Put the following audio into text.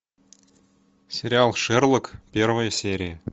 сериал шерлок первая серия